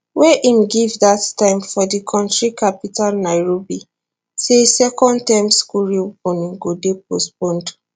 wey im give dat time for di kontri capital nairobi say second term school reopening go dey postponed